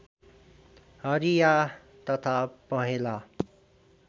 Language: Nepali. हरिया तथा पहेँला